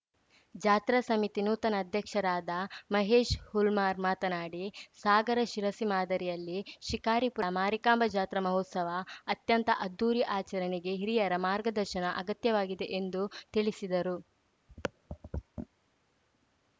ಜಾತ್ರಾ ಸಮಿತಿ ನೂತನ ಅಧ್ಯಕ್ಷರಾದ ಮಹೇಶ್‌ ಹುಲ್ಮಾರ್‌ ಮಾತನಾಡಿ ಸಾಗರ ಶಿರಸಿ ಮಾದರಿಯಲ್ಲಿ ಶಿಕಾರಿಪುರ ಮಾರಿಕಾಂಬಾ ಜಾತ್ರಾ ಮಹೋತ್ಸವ ಅತ್ಯಂತ ಅದ್ಧೂರಿ ಆಚರಣೆಗೆ ಹಿರಿಯರ ಮಾರ್ಗದರ್ಶನ ಅಗತ್ಯವಾಗಿದೆ ಎಂದು ತಿಳಿಸಿದರು